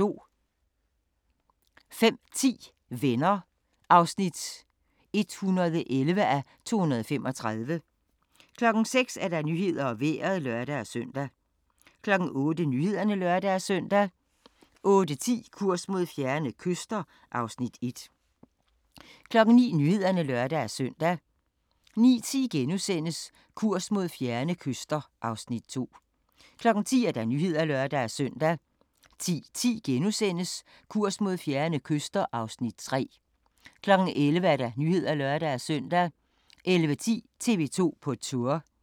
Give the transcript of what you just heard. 05:10: Venner (111:235) 06:00: Nyhederne og Vejret (lør-søn) 08:00: Nyhederne (lør-søn) 08:10: Kurs mod fjerne kyster (Afs. 1) 09:00: Nyhederne (lør-søn) 09:10: Kurs mod fjerne kyster (Afs. 2)* 10:00: Nyhederne (lør-søn) 10:10: Kurs mod fjerne kyster (Afs. 3)* 11:00: Nyhederne (lør-søn) 11:10: TV 2 på Tour